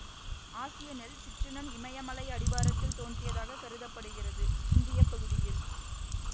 ஆசிய நெல் சிற்றினம் இமயமலை அடிவாரத்தில் தோன்றியதாகக் கருத படுகிறது இந்தியப்பகுதியில்